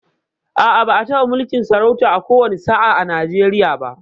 A'a, ba'a taɓa mulkin sarauta a ko wani sa'a a Nijeriya ba